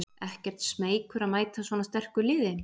Ekkert smeykur að mæta svona sterku liði?